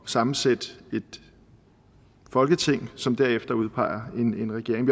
sammensætte et folketing som derefter udpeger en regering